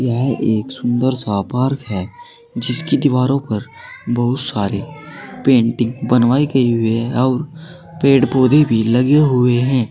यह एक सुंदर सा पार्क है जिसकी दीवारों पर बहोत सारी पेंटिंग बनवाई गई हुई है और पेड़ पौधे भी लगे हुए हैं।